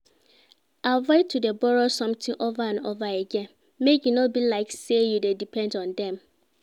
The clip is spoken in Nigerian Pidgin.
Avoid to de borrow something over and over again make e no be like say you de depend on dem